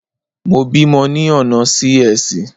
Mo bímọ ni ọ̀nà Sí-Ẹsì.